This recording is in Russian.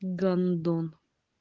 гандон